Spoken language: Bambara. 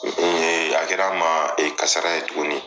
Ee a kɛra n ma e kasara ye tuguni.